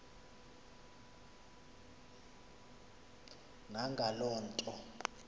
na ngaloo nto